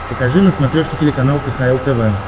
покажи на смотрешке телеканал кхл тв